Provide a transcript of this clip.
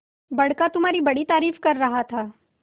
बड़का तुम्हारी बड़ी तारीफ कर रहा था